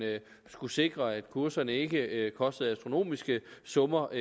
skulle sikre at kurserne enkeltvis ikke kostede astronomiske summer